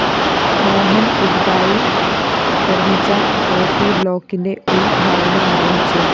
മോഹന്‍ പുതുതായി നിര്‍മ്മിച്ച ഒപി ബ്ലോക്കിന്റെ ഉദ്ഘാടനം നിര്‍വ്വഹിച്ചു